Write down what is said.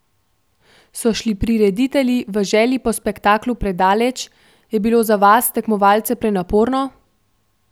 So šli prireditelji v želji po spektaklu predaleč, je bilo za vas, tekmovalce, prenaporno?